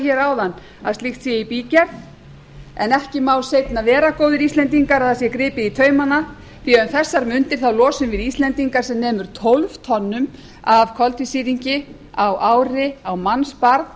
hér áðan að slíkt sé í bígerð en ekki má seinna vera góðir íslendingar að það sé gripið í taumana því að um þessar mundir losum við íslendingar sem nemur tólf tonnum af koltvísýringi á ári á mannsbarn